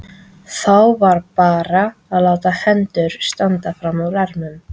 Þá var bara að láta hendur standa frammúr ermum.